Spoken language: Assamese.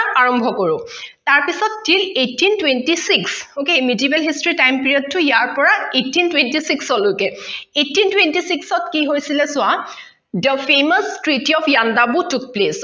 তাৰ পিছত eighteen twenty six okay medieval history time period টো ইয়াৰ পৰা eighteen twenty six লৈকে eighteen twenty six অত কি হৈছিলে চোৱা the famous treaty yandabo to place